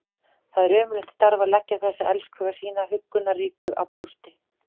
Það er ömurlegt starf að leggja þessa elskhuga sína huggunarríkur á brjóst.